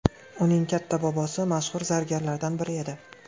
Uning katta bobosi mashhur zargarlardan biri edi.